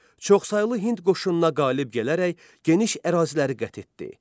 Çoxsaylı Hind qoşununa qalib gələrək geniş əraziləri qət etdi.